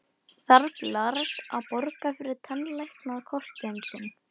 Þarf Lars að borga fyrir tannlæknakostnað sinn?